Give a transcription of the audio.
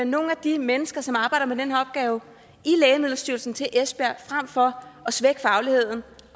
nogle de mennesker som arbejder med den her opgave i lægemiddelstyrelsen til esbjerg frem for at svække fagligheden